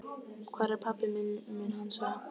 Hvar er pabbi minn? mun hann segja.